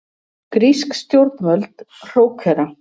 Grísk stjórnvöld hrókera